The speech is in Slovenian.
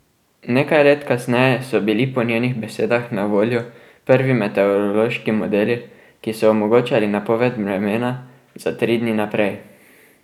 Nekaj let kasneje so bili po njenih besedah na voljo prvi meteorološki modeli, ki so omogočali napoved vremena za tri dni naprej.